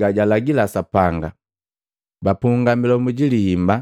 gajalagila Sapanga. Bapunga milomu ji liimba,